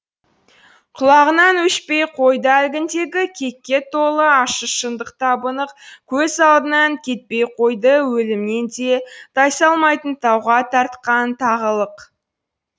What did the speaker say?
құлағынан өшпей қойды әлгіндегі кекке толы ащы шындық табы нық көз алдынан кетпей қойды өлімнен де тайсалмайтын тауға тартқан тағылық